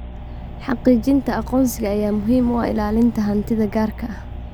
Xaqiijinta aqoonsiga ayaa muhiim u ah ilaalinta hantida gaarka ah.